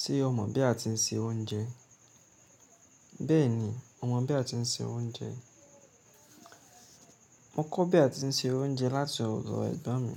Ṣé o mọ̀ bí a ti ń se oúnjẹ? Bẹ́ẹ̀ni, mo mọ̀ bí a ti ń se oúnjẹ. Mo kọ́ bí a ti ń se oúnjẹ láti ọ̀dọ ẹ̀gbọ́n mi.